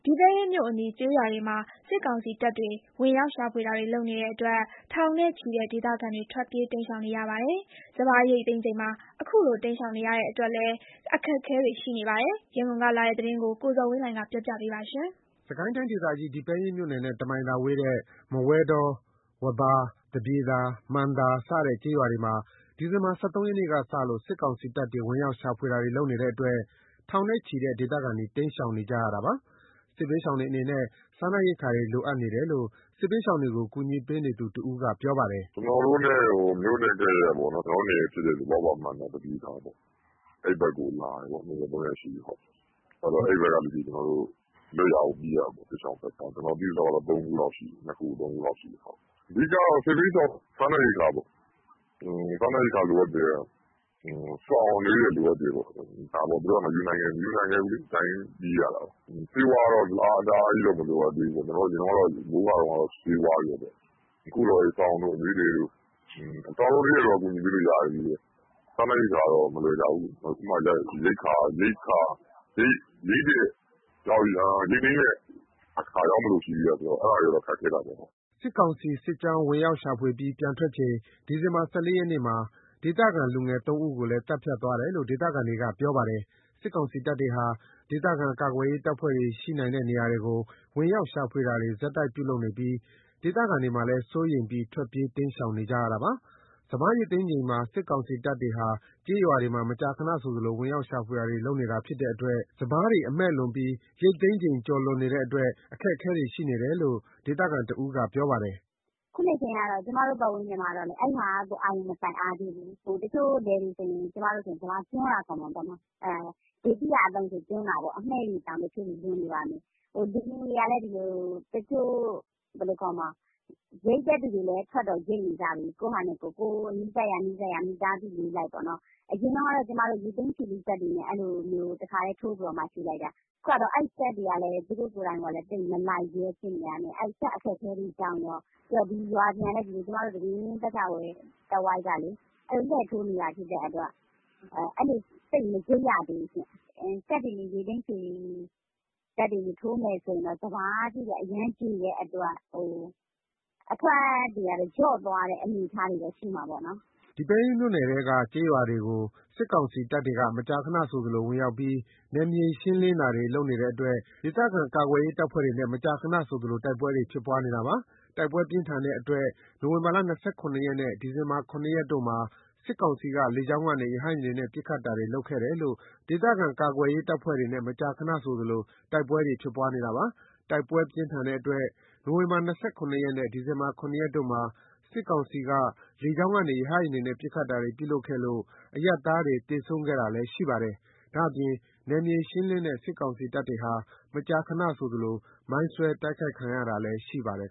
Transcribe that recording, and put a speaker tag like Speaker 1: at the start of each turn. Speaker 1: ီပဲယင်းမြို့အနီး ကျေးရွာတွေမှာ စစ်ကောင်စီတပ်တွေ ဝင်ရောက်ရှာဖွေနေတဲ့အတွက် ထောင်နဲ့ချီတဲ့ ဒေသခံတွေ ထွက်ပြေးတိမ်းရှောင်နေရပါတယ်။ စပါးရိတ်သိမ်းချိန်မှာ အခုလို တိမ်းရှောင် နေရတဲ့ အတွက်လည်း အခက်အခဲတွေရှိနေပါတယ်။ ရန်ကုန်ကလာတဲ့သတင်းကို ကိုဇော်ဝင်းလှိုင်က တင်ပြထားပါတယ်။ စစ်ကိုင်းတိုင်းဒေသကြီး ဒီပဲယင်းမြို့နယ်နဲ့ တမိုင်သာသာဝေးတဲ့ မဝဲတော၊ ဝဘာ၊ သပြေသာ၊ မှန်သာ စတဲ့ ကျေးရွာတွေမှာ ဒီဇင်ဘာ ၁၃ ရက်ကစလို့ စစ်ကောင်စီတပ်တွေ ဝင်ရောက်ရှာဖွေနေတဲ့အတွက် ထောင်နဲ့ချီတဲ့ ဒေသခံတွေ တိမ်းရှောင်နေကြရတာပါ။ စစ်ဘေးရှောင်တွေအနေနဲ့ စားနပ်ရိက္ခာတွေ လိုအပ်နေတယ်လို့ စစ်ဘေးရှောင်တွေကို ကူညီပေးနေသူတဦးက ပြောပါတယ်။ “မြိ
Speaker 2: ု့နဲ့ကပ်လျက်ပေါ့နော် ကျနော်တို့နယ်ဖြစ်တဲ့ ဝဘာ၊ မှန်သာ၊ သပြေသာ အဲ့ဘက်ကို လာတယ်ပေါ့။ ၂ ရက် ၃ ရက်ရှိပြီ။ အဲ့ဘက်ကလူတွေ လွတ်ရာကိုပြေးရတာပေါ့။ စစ်ရှောင်စခန်းတွေ ကျနော်သိသလောက် ၃ ခုလောက်ရှိတယ်။ အဓိက စစ်ဘေးရှောင်အတွက်က စားနပ်ရိက္ခာပေါ့။ စားနပ်ရိက္ခာလိုအပ်တယ်။ ဆောင်အနွေးထည်လိုအပ်တယ်။ သူတို့က မယူနိုင်ခဲ့ဖူးလေ။ ဒီအတိုင်းပြေးရတာ။ ဆေးဝါးကတော့ တအားကြီးတော့ မလိုအပ်သေးဘူး။ အရင်တုန်းက မိုးရွာတုန်းကတော့ ဆေးဝါးပေါ့။ အခုတော့ စောင်တို့၊ အနွေးထည်တို့ပေါ့။ စောင်တို့အနွေးထည်တို့က ကူညီပေးလို့ရတယ်။ စားနပ်ရိက္ခာက မလွယ်ကြဘူးလေ။ အခုမှ ရိတ်သိမ်းတဲ့အခါရောက်မလို့ ရှိသေးတော့ အဲ့ဒါက ခက်ခဲတာပေါ့။
Speaker 1: ” စစ်ကောင်စီ စစ်ကြောင်းဝင်ရောက်ရှာဖွေပြီး ပြန်ထွက်ချိန် ဒီဇင်ဘာ ၁၄ ရက်မှာ ဒေသခံ လူငယ် ၃ ဦးကိုလည်း သတ်ဖြတ်သွားတယ်လို့ ဒေသခံတွေကပြောပါတယ်။ စစ်ကောင်စီတပ်တွေဟာ ဒေသခံကာကွယ်ရေး တပ်ဖွဲ့တွေ ရှိနိုင်တဲ့နေရာတွေကို ဝင်ရောက်ရှာဖွေတာတွေ ဆက်တိုက်ပြုလုပ်နေပြီး ဒေသခံတွေမှာလည်း စိုးရိမ်ပြီး ထွက်ပြေး တိမ်းရှောင်နေကြတာပါ။ စပါးရိတ်သိမ်းချိန်မှာ စစ်ကောင်စီတပ်တွေဟာ ကျေးရွာတွေမှာ မကြာခဏဆိုသလို ဝင်ရောက် ရှာဖွေတာနေတဲ့အတွက် စပါးတွေမှာ အမှည့်လွန်ပြီး ရိတ်သိမ်းချိန် ကျော်လွန်နေတဲ့အတွက် အခက်အခဲတွေရှိတယ်လို့ ဒေသခံတွေကပြောပါတယ်။
Speaker 3: “အခုချိန်က ကျမတို့ပတ်ဝန်းကျင်မှာ အဲ့ဒါကို အာရုံမစိုက်အားသေးဘူး။ တချို့လယ်တွေဆိုရင် စပါးကျွမ်းတာ ခေါ်မှာပေါ့နော်။ အမှည့်တွေတောင် လွန်နေပါပြီ။ လူတွေက တချို့ရိတ်တဲ့သူတွေလည်း ထွက်တော့ ရိတ်ကြတယ်။ ကိုယ်နီးစပ်ရာ မိသားစုလေးလိုက်ပေါ့နော်။ အရင်တုန်းက ကျမတို့ ရိတ်သိမ်း ခြွေလှေ့စက်တွေနဲ့ တခါတည်းထိုးပြီး ချည်လိုက်တာ။ အခုဟာက အဲ့စက်တွေကလည်း သိပ်မလိုက်ရဲ ဖြစ်နေတာနဲ့ စက်အခက်အခဲတွေကြောင့်ကော ပြီးတော့ ဒီပဲယင်း ပတ်ချာလည် တဝိုက်က လှည့်ထိုးနေတာဆိုတော့ အဲ့လို သိပ်မရိတ်ရသေးဘူး။ စက်တွေနဲ့ထိုးမယ်ဆိုရင်တောင် စပါးတွေက အရမ်းကြေနေတဲ့အတွက် အထွက်လျော့မယ့် အနေအထားတွေတော့ ရှိမှာပေါ့နော်။
Speaker 1: ” ဒီပဲယင်းမြို့နယ်ထဲက ကျေးရွာတွေကို စစ်ကောင်စီတပ်တွေ မကြာခဏဆိုသလို ဝင်ရောက်ပြီး နယ်မြေရှင်းလင်းတာတွေ လုပ်တဲ့အတွက် ဒေသခံကာကွယ်ရေး တပ်ဖွဲ့တွေနဲ့ မကြာခဏဆိုသလို တိုက်ပွဲတွေ ဖြစ်ပွားနေတာပါ။ တိုက်ပွဲပြင်းထန်တဲ့အတွက် နိုဝင်ဘာ ၂၇ ရက်နဲ့ ဒီဇင်ဘာ ၇ တို့ မှာ စစ်ကောင်စီက လေကြောင်းကနေ ရဟတ်ယာဉ်တွေနဲ့ ပစ်ခတ်တာတွေပြုလုပ်ခဲ့လို့ အရပ်သားတွေ သေဆုံးခဲ့တာလည်း ရှိပါတယ်။ ဒါ့အပြင် နယ်မြေရှင်းလင်းတဲ့ စစ်ကောင်စီတပ်တွေဟာ မကြာခဏဆိုသလိုလည်း မိုင်းဆွဲ တိုက်ခိုက် ခံနေရတာလည်း ရှိပါတယ်